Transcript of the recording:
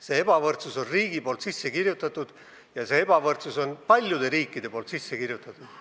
Selle ebavõrdsuse on riik sinna sisse kirjutanud ja selle ebavõrdsuse on paljud riigid sisse kirjutanud.